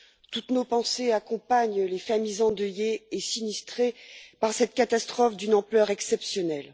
Toutes nos pensées accompagnent les familles endeuillées et sinistrées par cette catastrophe d'une ampleur exceptionnelle.